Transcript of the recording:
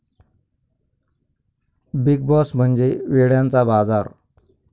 big boss म्हणजे वेड्यांचा बाजार'